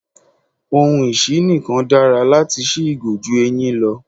Ohun isí-nǹkan dára láti sí ìgò ju eyin lọ.